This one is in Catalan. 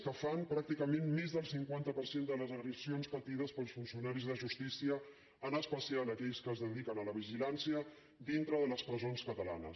que fan pràcticament més del cinquanta per cent de les agressions patides pels funcionaris de justícia en especial aquells que es dediquen a la vigilància dintre de les presons catalanes